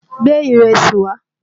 Gbé ìrẹsì wá!